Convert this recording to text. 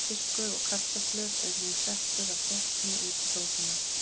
Fiskur og kartöflur er nú settur af gætni út í sósuna.